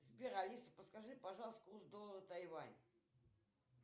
сбер алиса подскажи пожалуйста курс доллара тайвань